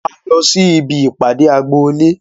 A lọ sí ibi ìpàdé agboolé